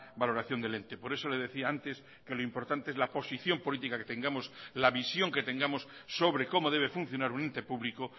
valoración del ente por eso le decía antes que lo importante es la posición política que tengamos la visión que tengamos sobre cómo debe funcionar un ente público